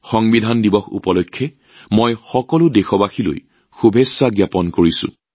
সংবিধান দিৱস উপলক্ষে সকলো দেশবাসীলৈ শুভেচ্ছা জ্ঞাপন কৰিছোঁ